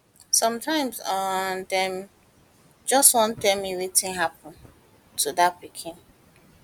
sometimes um dem just wan tell me wetin happun happun to dia pikin